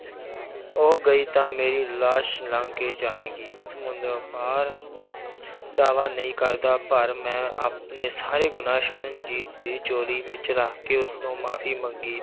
ਉਹ ਗਈ ਤਾਂ ਮੇਰੀ ਲਾਸ਼ ਲੰਘ ਕੇ ਜਾਵੇਂਗੀ ਸਮੁੰਦਰੋਂ ਪਾਰ ਦਾਵਾ ਨਹੀਂ ਕਰਦਾ ਪਰ ਮੈਂ ਆਪਣੇ ਸਾਰੇ ਗੁਨਾਂਹ ਸਰਨਜੀਤ ਦੀ ਝੋਲੀ ਵਿੱਚ ਰੱਖ ਕੇ ਉਸ ਤੋਂ ਮਾਫ਼ੀ ਮੰਗੀ